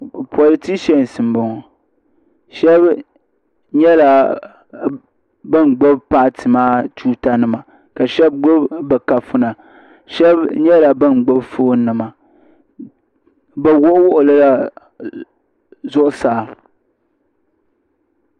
Politisas m boŋɔ sheba nyɛla ban gbibi paati maa tuuta nima ka sheba gbibi bɛ kafuna sheba nyɛla ban gbibi fooni nima bɛ wuɣi wuɣilila zuɣusaa.